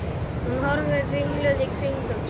Hún horfir ringluð í kringum sig.